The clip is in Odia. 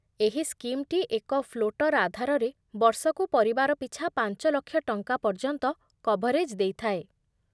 ଏହି ସ୍କିମ୍‌ଟି ଏକ ଫ୍ଲୋଟର୍ ଆଧାରରେ ବର୍ଷକୁ ପରିବାର ପିଛା ପାଞ୍ଚ ଲକ୍ଷ ଟଙ୍କା ପର୍ଯ୍ୟନ୍ତ କଭରେଜ୍ ଦେଇଥାଏ